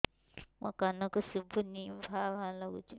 ମୋ କାନକୁ ଶୁଭୁନି ଭା ଭା ଲାଗୁଚି